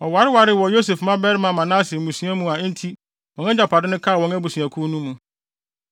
Wɔwarewaree wɔ Yosef babarima Manase mmusua mu enti wɔn agyapade no kaa wɔn abusuakuw no mu.